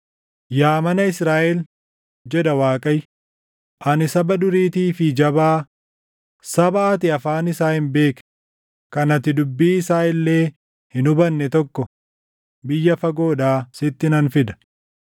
Yaa mana Israaʼel,” jedha Waaqayyo; “Ani saba duriitii fi jabaa, saba ati afaan isaa hin beekne, kan ati dubbii isaa illee hin hubanne tokko biyya fagoodhaa sitti nan fida.